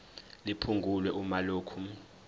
liphungulwe uma lokhu